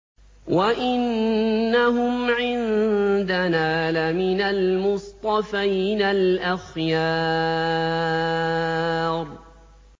وَإِنَّهُمْ عِندَنَا لَمِنَ الْمُصْطَفَيْنَ الْأَخْيَارِ